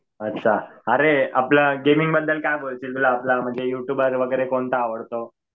अच्छा. अरे आपलं गेमिंग बद्दल काय बोलशील? तुला आपला यु ट्युबर वगैरे कोणता आवडतो?